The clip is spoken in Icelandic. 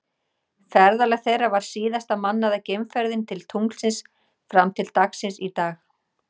Ferðalag þeirra var síðasta mannaða geimferðin til tunglsins fram til dagsins í dag.